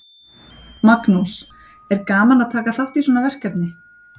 Magnús: Er gaman að taka þátt í svona verkefni?